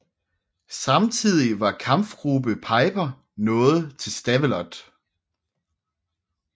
Samtidig var Kampfgruppe Peiper nået til Stavelot